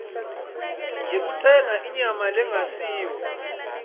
yekutsenga inyama lengasiyo